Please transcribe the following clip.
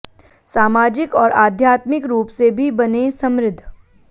सामाजिक और आध्यात्मिक रूप से भी बनें समृद्ध